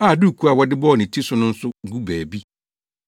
a dukuu a wɔde bɔɔ ne ti no nso gu baabi.